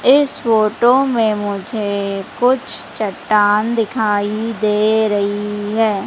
इस फोटो में मुझे कुछ चट्टान दिखाई दे रही है।